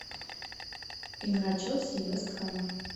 игра челси и вест хэма